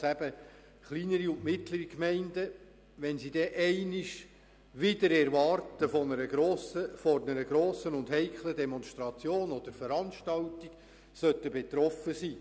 Was tun wir, wenn kleinere und mittlere Gemeinden auf einmal wider Erwarten von einer grossen und heiklen Demonstration oder Veranstaltung betroffen sind?